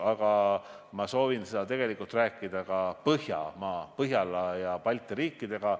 Aga ma soovin sellest tegelikult rääkida ka Põhjamaade ja Balti riikidega.